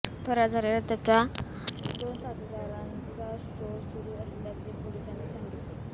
फरार झालेल्या त्याच्या दोन साथीदारांचा शोध सुरू असल्याचे पोलिसांनी सांगितले